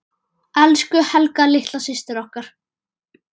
Elsku Helga litla systir okkar.